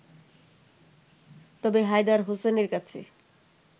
তবে হায়দার হোসেনের কাছে